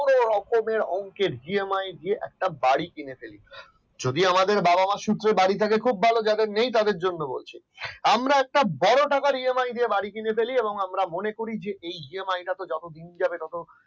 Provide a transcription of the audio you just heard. পুরো রকমের অংকের একটা EMI দিয়ে একটা বাড়ি কিনে ফেলি। যদিও আমাদের বাবা-মার সূত্রে বাড়ি থাকে কিন্তু যাদের নেই তাদের বলছি আমরা একটা বড় টাকার EMI দিয়ে বাড়ি কিনে ফেলে এবং আমরা মনে করি যে এই EMI যতদিন যাবে তত